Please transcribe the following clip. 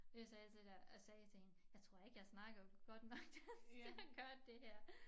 Jeg sagde til dig jeg sagde til hende jeg tror ikke jeg snakker godt nok dansk til at gøre det her